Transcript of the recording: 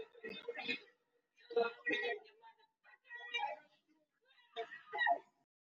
Mowa o ne o palelwa ke go feta ka masoba a dinko.